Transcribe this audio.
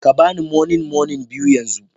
Ka ba ni moninmonin biyu yanzu